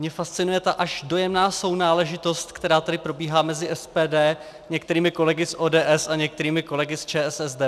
Mě fascinuje ta až dojemná sounáležitost, která tady probíhá mezi SPD, některými kolegy z ODS a některými kolegy z ČSSD.